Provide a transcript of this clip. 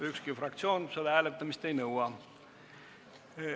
Ükski fraktsioon selle hääletamist ei nõua.